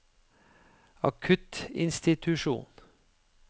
akuttinstitusjonen